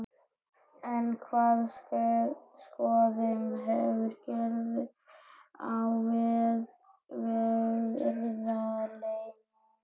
En hvaða skoðanir hefur Gyrðir á verðlaununum?